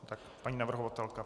Tak paní navrhovatelka.